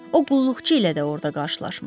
O, qulluqçu ilə də orda qarşılaşmışdı.